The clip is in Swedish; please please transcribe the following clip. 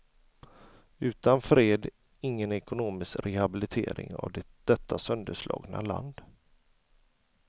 Utan fred, ingen ekonomisk rehabilitering av detta sönderslagna land.